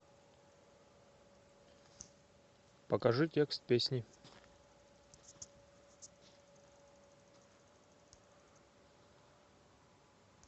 покажи текст песни